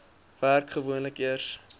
werk gewoonlik eers